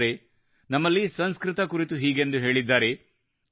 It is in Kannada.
ಸ್ನೇಹಿತರೇ ನಮ್ಮಲ್ಲಿ ಸಂಸ್ಕೃತ ಕುರಿತು ಹೀಗೆಂದು ಹೇಳಿದ್ದಾರೆ